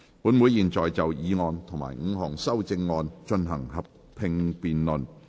本會現在就議案及5項修正案進行合併辯論。